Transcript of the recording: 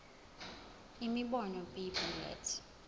imibono b bullets